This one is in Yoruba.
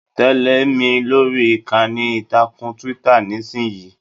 Tẹle mi lórí ìkànnì ìtàkùn Twitter nisinyii!